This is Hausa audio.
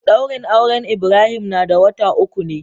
Daurin auren Ibrahim na da wata uku ne.